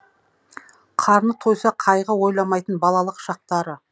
қарны тойса қайғы ойламайтын балалық шақтары